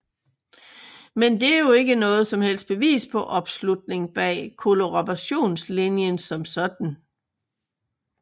Men det er jo ikke noget som helst bevis på opslutning bag kollaborationslinjen som sådan